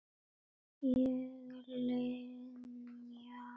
Ég Linja sagði sú skáeygða og leit ekki við Erni.